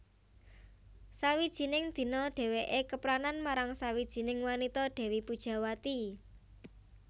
Sawijining dina dhèwèké kepranan marang sawijining wanita Dèwi Pujawati